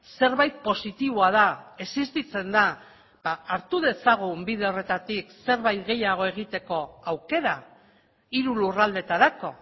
zerbait positiboa da existitzen da hartu dezagun bide horretatik zerbait gehiago egiteko aukera hiru lurraldetarako